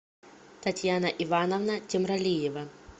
татьяна ивановна темралиева